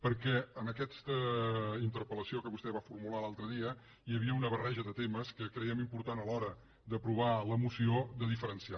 perquè en aquesta interpel·lació que vostè va formular l’altre dia hi havia una barreja de temes que creiem important a l’hora d’aprovar la moció de diferenciar